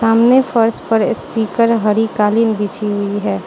सामने फर्श पर स्पीकर हरिकालीन बिछी हुई है।